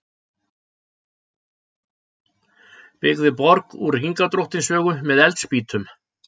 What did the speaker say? Byggði borg úr Hringadróttinssögu með eldspýtum